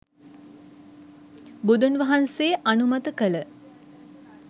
බුදුන් වහන්සේ අනුමත කළ